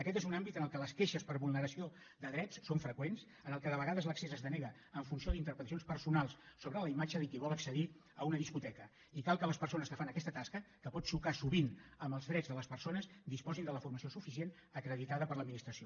aquest és un àmbit en què les queixes per vulneració de drets són freqüents en què de vegades l’accés es denega en funció d’interpretacions personals sobre la imatge de qui vol accedir a una discoteca i cal que les persones que fan aquesta tasca que pot xocar sovint amb els drets de les persones disposin de la formació suficient acreditada per l’administració